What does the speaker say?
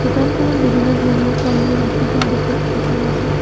দোকানখনত বিভিন্ন ধৰণৰ ফল মূল ৰাখিকা দেখা গৈছে।